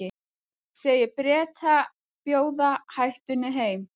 Segir Breta bjóða hættunni heim